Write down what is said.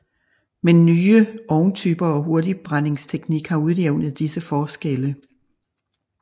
Men nye ovntyper og hurtigbrændingsteknik har udjævnet disse forskelle